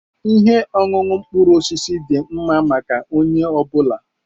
Ihe ọṅụṅụ mkpụrụ osisi dị mma maka onye ọ bụla.